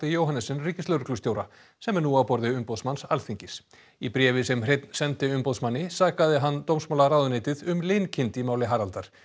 Johannessen ríkislögreglustjóra sem er nú á borði umboðsmanns Alþingis í bréfi sem Hreinn sendi umboðsmanni sakaði hann dómsmálaráðuneytið um linkind í máli Haraldar